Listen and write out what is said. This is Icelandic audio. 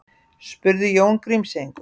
spurði Jón Grímseyingur.